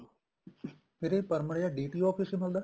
ਫ਼ੇਰ ਇਹ permit ਜਾ DTO office ਮਿਲਦਾ